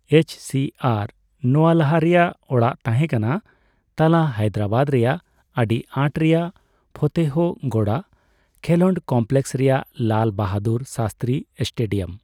ᱮᱭᱤᱪᱹᱥᱤᱹᱮᱨᱼᱱᱚᱣᱟ ᱞᱟᱦᱟ ᱨᱮᱭᱟᱜ ᱚᱲᱟᱜ ᱛᱟᱦᱮᱸ ᱠᱟᱱᱟ ᱛᱟᱞᱟ ᱦᱟᱭᱫᱨᱟᱵᱟᱫ ᱨᱮᱭᱟᱜ ᱟᱰᱤ ᱟᱸᱴ ᱨᱮᱭᱟᱜ ᱯᱷᱚᱛᱮᱦᱚ ᱜᱚᱰᱟ ᱠᱷᱮᱞᱚᱸᱰ ᱠᱚᱢᱯᱞᱮᱠᱥ ᱨᱮᱭᱟᱜ ᱞᱟᱞ ᱵᱟᱦᱟᱫᱩᱨ ᱥᱟᱥᱛᱨᱤ ᱥᱴᱮᱰᱤᱭᱟᱢ ᱾